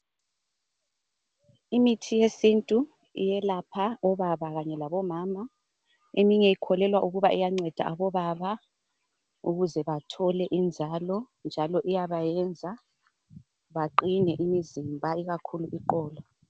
Imithi yesintu iyelapha obaba kanye labomama. Eyinye ikholelwa ukuba iyanceda obaba ukuze bathole inzalo njalo iyabayenza baqine imizimba ikakhulu iqolo.